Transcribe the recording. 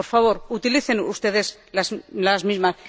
Por favor, ¡utilicen ustedes las mismas!